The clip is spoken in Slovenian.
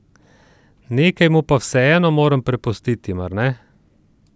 Nekaj mu pa vseeno moram prepustiti, mar ne?